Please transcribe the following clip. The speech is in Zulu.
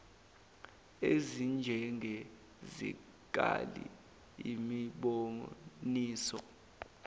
ezinjenge zikali imiboniso